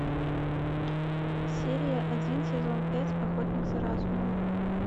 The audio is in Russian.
серия один сезон пять охотник за разумом